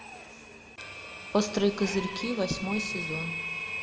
острые козырьки восьмой сезон